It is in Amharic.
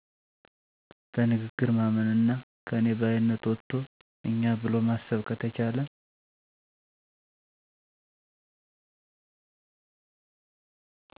በንግግር ማመንና ከኔ ባይነት ወጥቶ እኛ ብሎ ማሰብ ከተቻለ